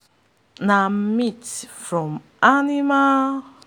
na meat from animal